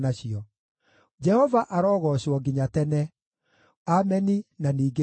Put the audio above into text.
Jehova arogoocwo nginya tene! Ameni, na ningĩ Ameni.